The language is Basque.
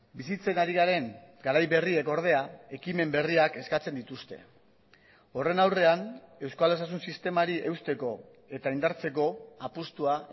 bizitzen ari garen garai berriek ordea ekimen berriak eskatzen dituzte horren aurrean euskal osasun sistemari eusteko eta indartzeko apustua